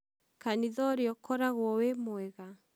kanithaũũrĩa ũkoragwo wĩ mwega?